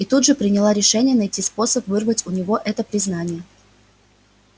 и тут же приняла решение найти способ вырвать у него это признание